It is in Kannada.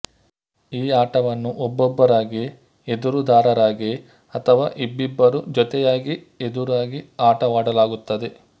ಈ ಆಟವನ್ನು ಒಬ್ಬೊಬ್ಬರಾಗಿ ಎದುರುದಾರರಾಗಿ ಅಥವಾ ಇಬ್ಬಿಬ್ಬರು ಜೊತೆಯಾಗಿ ಎದುರಾಗಿ ಆಟವಾಡಲಾಗುತ್ತದೆ